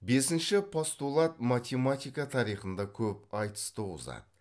бесінші постулат математика тарихында көп айтыс туғызады